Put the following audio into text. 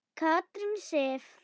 Katrín Sif.